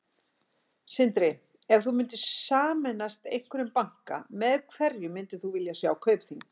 Sindri: Ef þú myndir sameinast einhverjum banka, með hverjum myndir þú vilja sjá Kaupþing?